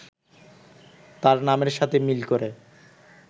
তার নামের সাথে মিল করে